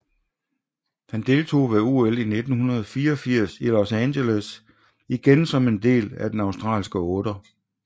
Han deltog ved OL 1984 i Los Angeles igen som en del af den australske otter